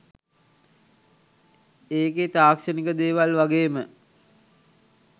ඒකේ තාක්ෂණික දේවල් වගේම